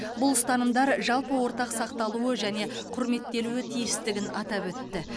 бұл ұстанымдар жалпы ортақ сақталуы және құрметтелуі тиістігін атап өтті